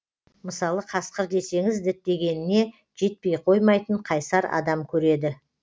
мысалы қасқыр десеңіз діттегеніне жетпей қоймайтын қайсар адам көреді